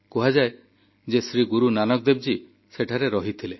କୁହାଯାଏ ଯେ ଶ୍ରୀ ଗୁରୁନାନକ ଦେବଜୀ ସେଠାରେ ରହିଥିଲେ